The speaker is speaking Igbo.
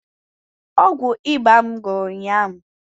Ọgwụ ịba m gwụrụ ụnyaahụ